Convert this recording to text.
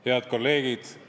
Head kolleegid!